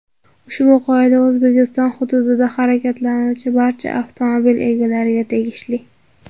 Ushbu qoida O‘zbekiston hududida harakatlanuvchi barcha avtomobil egalariga tegishli.